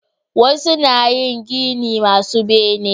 Wasu na yin gini masu bene